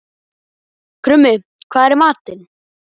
Krummi, hvað er í matinn?